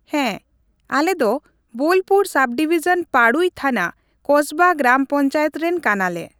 ᱦᱮᱸ ᱟᱞᱮ ᱫᱚ ᱵᱳᱞᱯᱩᱨ ᱥᱟᱵᱰᱤᱵᱤᱡᱚᱱ ᱯᱟᱹᱲᱩᱭ ᱛᱷᱟᱱᱟ ᱠᱚᱥᱵᱟ ᱜᱨᱟᱢ ᱯᱚᱧᱪᱟᱭᱮᱛ ᱨᱮᱱ ᱠᱟᱱᱟ ᱞᱮ ᱾